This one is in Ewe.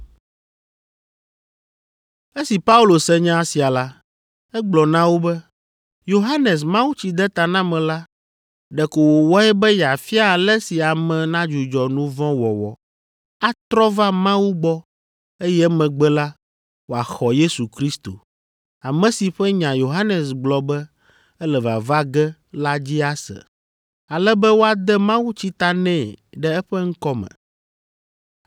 Esi Paulo se nya sia la, egblɔ na wo be, “Yohanes Mawutsidetanamela ɖeko wòwɔe be yeafia ale si ame nadzudzɔ nu vɔ̃ wɔwɔ, atrɔ va Mawu gbɔ eye emegbe la, wòaxɔ Yesu Kristo, ame si ƒe nya Yohanes gblɔ be ele vava ge la dzi ase, ale be woade mawutsi ta nɛ ɖe eƒe ŋkɔ me.”